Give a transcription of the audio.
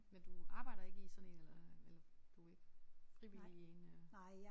Men du arbejder ikke i sådan en eller eller du er ikke frivillig i en øh